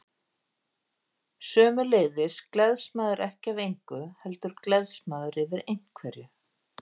Sömuleiðis gleðst maður ekki af engu, heldur gleðst maður yfir einhverju.